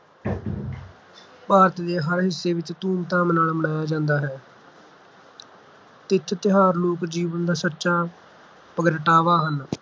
ਭਾਰਤ ਦੇ ਹਰ ਹਿੱਸੇ ਵਿੱਚ ਧੂਮਧਾਮ ਨਾਲ ਮਨਾਇਆ ਜਾਂਦਾ ਹੈ ਤਿਥ-ਤਿਉਹਾਰ ਲੋਕ ਜੀਵਨ ਦਾ ਸੱਚਾ ਪ੍ਰਗਟਾਵਾ ਹਨ